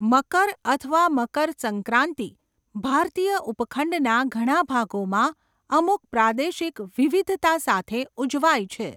મકર અથવા મકર સંક્રાંતિ ભારતીય ઉપખંડના ઘણા ભાગોમાં અમુક પ્રાદેશિક વિવિધતા સાથે ઉજવાય છે.